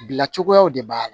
Bila cogoyaw de b'a la